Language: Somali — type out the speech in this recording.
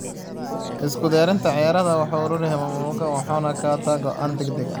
Isku diyaarinta ciyaarta, wuxuu aruuriyaa macluumaadka, wuxuuna qaataa go'aan degdeg ah.